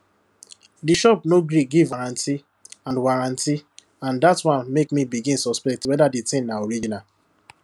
di shop no gree give warranty and warranty and dat one make me begin suspect whether di thing na original